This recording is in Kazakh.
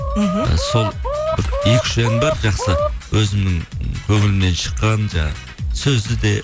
мхм і сол бір екі үш ән бар жақсы өзімнің көңілімнен шыққан жаңағы сөзі де